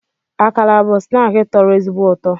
Akara bụ snaakị tọrọ ezigbo ụtọ